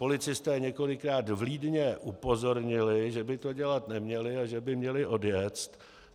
Policisté několikrát vlídně upozornili, že by to dělat neměli a že by měli odjet.